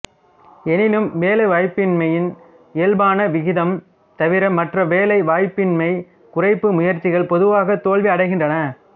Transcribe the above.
எனினும் வேலைவாய்ப்பின்மையின் இயல்பான விகிதம் தவிர மற்ற வேலைவாய்ப்பின்மைக் குறைப்பு முயற்சிகள் பொதுவாக தோல்வி அடைகின்றன